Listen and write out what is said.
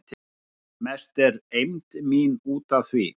Mest er eymd mín út af því